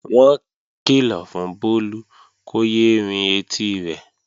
Wọ́n kìlọ̀ fún Bólú kó yé é rin etí rẹ̀